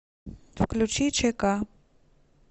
включи чк